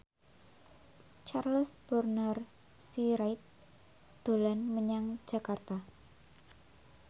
Charles Bonar Sirait dolan menyang Jakarta